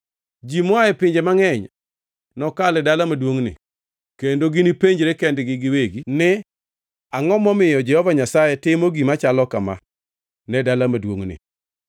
“Ji moa e pinje mangʼeny nokal e dala maduongʼni kendo ginipenjre kendgi giwegi ni, ‘Angʼo momiyo Jehova Nyasaye timo gima chalo kama ne dala maduongʼni?’